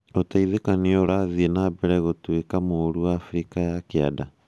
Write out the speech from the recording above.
ũteithũkanio ũrathĩe na mbere gũtuĩka mũrũ Afrika ya Kĩanda?